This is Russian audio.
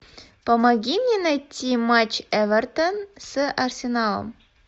помоги мне найти матч эвертон с арсеналом